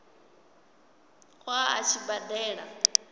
ṱo ḓa a tshi badela